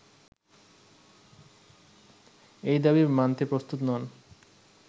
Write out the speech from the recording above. এই দাবি মানতে প্রস্তুত নন